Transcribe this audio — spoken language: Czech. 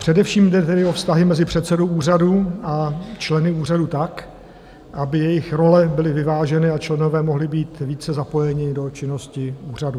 Především jde tedy o vztahy mezi předsedou úřadu a členy úřadu tak, aby jejich role byly vyváženy a členové mohli být více zapojeni do činnosti úřadu.